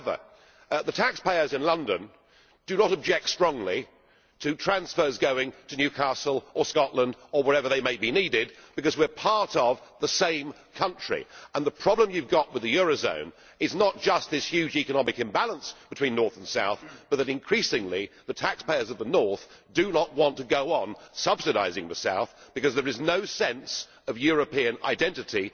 However, the taxpayers in London do not object strongly to transfers going to Newcastle or Scotland or wherever they may be needed because we are part of the same country. The problem you have with the euro area is not just this huge economic imbalance between north and south, but that increasingly the taxpayers of the north do not want to go on subsidising the south because there is no sense of European identity.